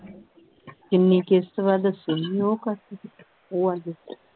ਕਿੰਨੀ ਕਿਸ਼ਤ ਵਾ ਦੱਸਿਆ ਨਹੀਂ ਉਹ ਉਹ